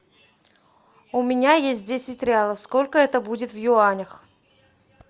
у меня есть десять реалов сколько это будет в юанях